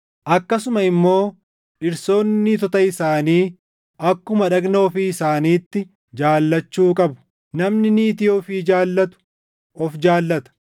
Akkasuma immoo dhirsoonni niitota isaanii akkuma dhagna ofii isaaniitti jaallachuu qabu. Namni niitii ofii jaallatu of jaallata.